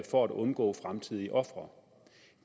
for at undgå fremtidige ofre